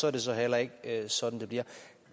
er det så heller ikke sådan det bliver